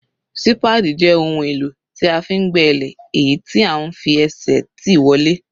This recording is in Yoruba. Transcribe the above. Sípáádì jẹ́ ohun èlò tí a fi ń gbẹ́ ilẹ̀, èyí tí à ń fi ẹsẹ̀ tì wọlẹ̀.